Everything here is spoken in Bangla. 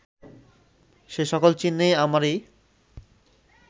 যে সকল চিহ্নে আমারই